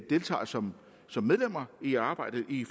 deltager som som medlemmer i arbejdet i